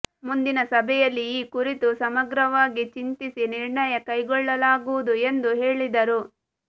ಮುಂದಿನ ಸಭೆಯಲ್ಲಿ ಈ ಕುರಿತು ಸಮಗ್ರವಾಗಿ ಚಿಂತಿಸಿ ನಿರ್ಣಯ ಕೈಗೊಳ್ಳಲಾಗುವುದು ಎಂದು ಹೇಳಿದರು